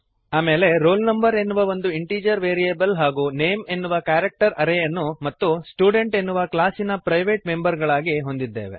ಆಮೇಲೆ roll no ಎನ್ನುವ ಒಂದು ಇಂಟೀಜರ್ ವೇರಿಯಬಲ್ ಹಾಗೂ ನೇಮ್ ಎನ್ನುವ ಕ್ಯಾರೆಕ್ಟರ್ ಆರೇಯನ್ನು ಮತ್ತು ಸ್ಟುಡೆಂಟ್ ಎನ್ನುವ ಕ್ಲಾಸಿನ ಪ್ರೈವೇಟ್ ಮೆಂಬರ್ ಗಳಾಗಿ ಹೊಂದಿದ್ದೇವೆ